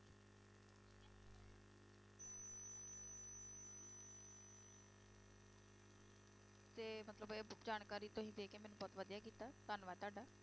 ਤੇ ਮਤਲਬ ਇਹ ਜਾਣਕਾਰੀ ਤੁਸੀਂ ਦੇ ਕੇ ਮੈਨੂੰ ਬਹੁਤ ਵਧੀਆ ਕੀਤਾ, ਧੰਨਵਾਦ ਤੁਹਾਡਾ।